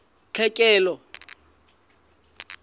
tlhekelo